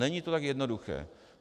Není to tak jednoduché.